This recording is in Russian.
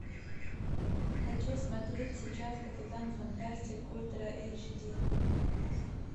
хочу смотреть сейчас капитан фантастик ультра эйч ди